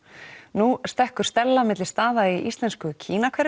nú stekkur Stella á milli staða í íslensku